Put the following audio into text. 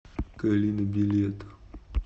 калина билет